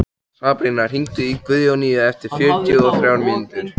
Sabrína, hringdu í Guðjóníu eftir fjörutíu og þrjár mínútur.